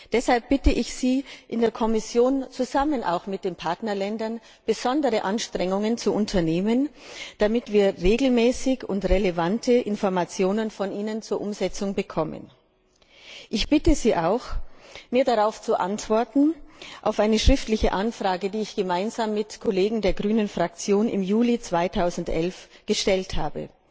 Deshalb bitte ich Sie in der Kommission, auch zusammen mit den Partnerländern besondere Anstrengungen zu unternehmen, damit wir regelmäßig relevante Informationen von Ihnen zur Umsetzung bekommen. Ich bitte Sie auch, mir auf eine schriftliche Anfrage zu antworten, die ich gemeinsam mit Kollegen der Verts ALE Fraktion im Juli 2011 gestellt habe.